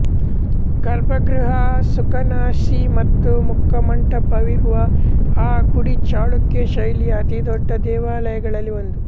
ಗರ್ಭಗೃಹ ಸುಖನಾಸಿ ಮತ್ತು ಮುಖಮಂಟಪವಿರುವ ಈ ಗುಡಿ ಚಾಳುಕ್ಯ ಶೈಲಿಯ ಅತಿದೊಡ್ಡ ದೇವಾಲಯಗಳಲ್ಲಿ ಒಂದು